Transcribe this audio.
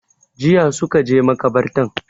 Jiya suka je makabartan